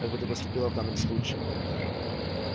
как бы та поступила в данном случае